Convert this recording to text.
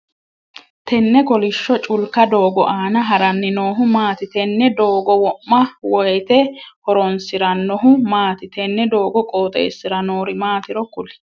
Tenne kolisho culka doogo aanna haranni noohu maati? Tenne doogo wo'ma woyeete horoonsiranohu maati? Tenne doogo qooxeesira noori maatiri kuli?